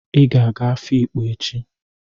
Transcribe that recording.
Ị ga-aga Afikpo echi!